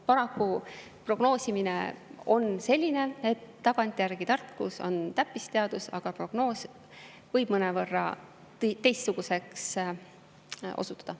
Paraku prognoosimine on selline, et tagantjärgi tarkus on täppisteadus, aga prognoos võib mõnevõrra teistsuguseks osutuda.